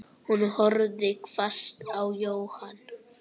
Hún horfði hvasst á Jóhann.